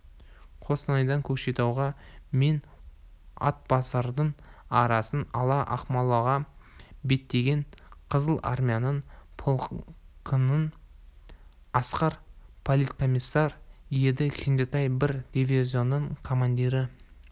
қостанайдан көкшетау мен атбасардың арасын ала ақмолаға беттеген қызыл армияның -полкында асқар политкомиссар еді кенжетай бір дивизионның командирі